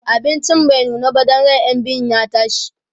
abincin bai nuna ba Dan ran ƴan biyun ya ɓace